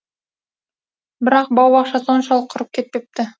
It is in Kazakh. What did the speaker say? бірақ бау соншалық құрып кетпепті